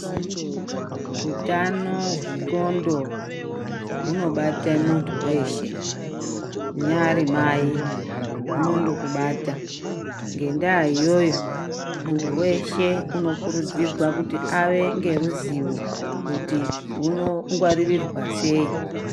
Utano hwendxondo hunobate muntu weshe unyari mai hunondokubata ngendaa iyoyo muntu weshe unokurudzirwa kuti ave neruzivo kuti rwunongwarirwa sei.